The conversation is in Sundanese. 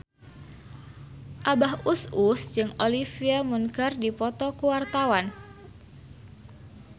Abah Us Us jeung Olivia Munn keur dipoto ku wartawan